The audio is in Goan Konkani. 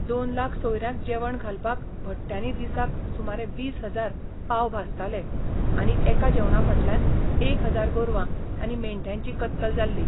दोन लाख सोयरयांक जेवण घालपाक, भट्ट्यानी दिसाक सुमारे वीस हजार पाव भाजताले आनी एका जेवणां फाटल्यान एक हजार गोरवां आनी मेंढ्यांची कत्तल जाल्ली!